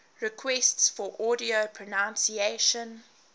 requests for audio pronunciation